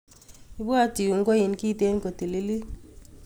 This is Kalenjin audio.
Ibwat iun koin kiten kotililit.